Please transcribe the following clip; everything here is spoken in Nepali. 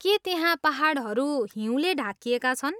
के त्यहाँ पाहाडहरू हिउँले ढाकिएका छन्?